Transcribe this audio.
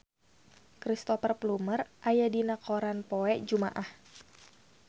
Cristhoper Plumer aya dina koran poe Jumaah